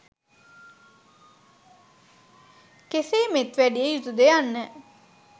කෙසේ මෙත් වැඩිය යුතුද යන්න